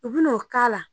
U bina o k'a la